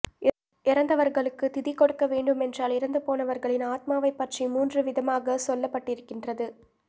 இறந்தவர்களுக்குத் திதி கொடுக்க வேண்டு மென்றால் இறந்து போனவர்களின் ஆத்மாவைப் பற்றி மூன்று வித மாகச் சொல்லப்பட்டிருக்கின்றது